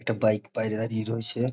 একটা বাইক বাইরে দাঁড়িয়ে রয়েছে।